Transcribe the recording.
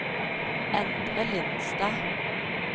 Endre Lindstad